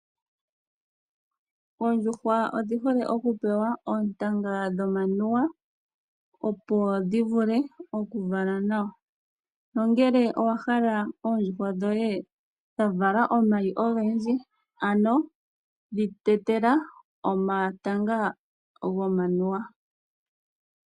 Oondjuhwa odhi hole oku pewa oontanga dhomamuwa, opo dhi vule oku vala nawa nongele owa hala oondjuhwa dhoye dha vala omayi ogendji dhi tetela omatanga gomanuwa.